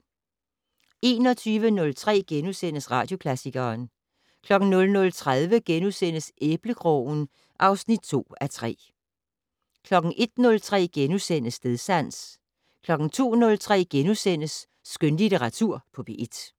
21:03: Radioklassikeren * 00:30: Æblekrogen (2:3)* 01:03: Stedsans * 02:03: Skønlitteratur på P1 *